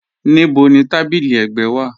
Níbò ni tábílí ẹ̀gbẹ̀ wa?